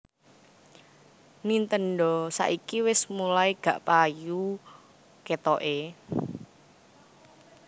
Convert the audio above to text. Nintendo saiki wes mulai gak payu ketoke